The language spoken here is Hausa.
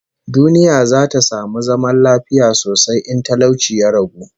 Duniya za ta samu zaman lafiya sosai in talauci ya ragu